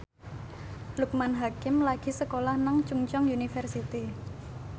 Loekman Hakim lagi sekolah nang Chungceong University